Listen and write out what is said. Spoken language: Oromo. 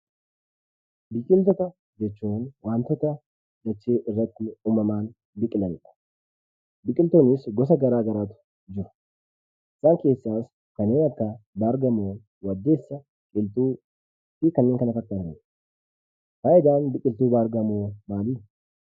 Biqiltoota jechuun wantoota dachee irratti uumamaan biqilanidha. Biqiltoonnis gosa garaa garaatu jiru. Isaan keessaas kanneen akka: baargamoo, waddeessa, qilxuu fi kanneen kana fakkaatanidha. Faayidaan biqiltuu baargamoo maali?